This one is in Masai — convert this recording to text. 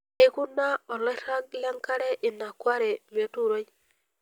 Eukuna oloirag lenkare ina kware metuuroi.